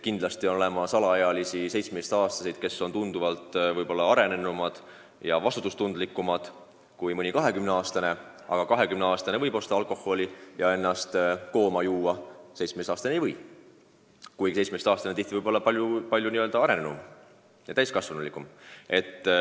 Kindlasti on olemas alaealisi, näiteks 17-aastaseid, kes on tunduvalt arenenumad ja vastutustundlikumad kui mõni 20-aastane, aga 20-aastane võib osta alkoholi ja ennast kooma juua, 17-aastane ei või alkoholi osta, kuigi võib olla palju täiskasvanulikum.